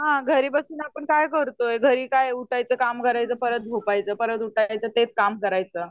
हा घरी बसून आपण काय करतोय? घरी काय उठायचं काम करायचं परत झोपायचं परत उठायचं तेच काम करायचं.